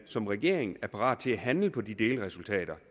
som regering er parat til at handle på de delresultater